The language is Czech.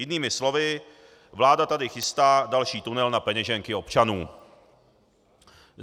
Jinými slovy, vláda tady chystá další tunel na peněženky občanů.